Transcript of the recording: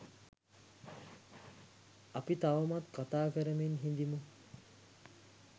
අපි තවමත් කතා කරමින් හිඳිමු.